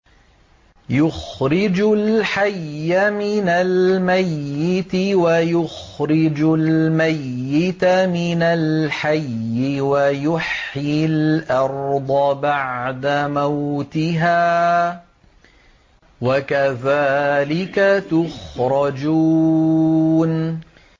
يُخْرِجُ الْحَيَّ مِنَ الْمَيِّتِ وَيُخْرِجُ الْمَيِّتَ مِنَ الْحَيِّ وَيُحْيِي الْأَرْضَ بَعْدَ مَوْتِهَا ۚ وَكَذَٰلِكَ تُخْرَجُونَ